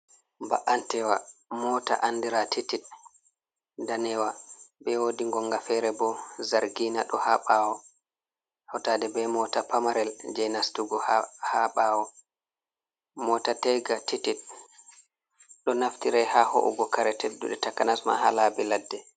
Ba’antewa mota andira titid, danewa. be wodi gonga fere bo zargina ɗo ha bawo hotade be mota pamarel je nastugo ha ɓawo mota tega titid, ɗo naftira ha ho’ugo kare tedduɗe takanasma ha labi ladde.